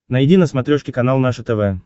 найди на смотрешке канал наше тв